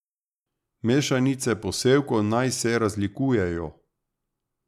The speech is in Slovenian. Mešanice posevkov naj se razlikujejo.